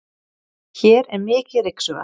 hér er mikið ryksugað